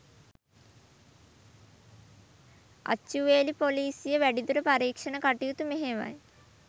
අච්චුවේලී පොලීසිය වැඩිදුර පරීක්ෂණ කටයුතු මෙහෙයවයි